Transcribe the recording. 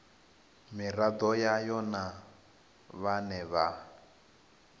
miraḓo yayo na vhane vha